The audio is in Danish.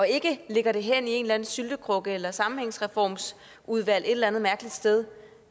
ikke lægger det hen i en eller anden syltekrukke eller et sammenhængsreformsudvalg et eller andet mærkeligt sted